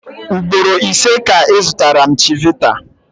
Ugboro ise ka ị zụtara m chivita.